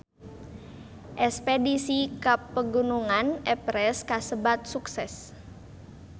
Espedisi ka Pegunungan Everest kasebat sukses